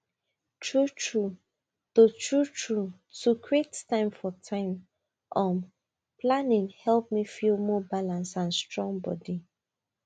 truetrue to truetrue to create time for time um planning help me feel more balanced and strong body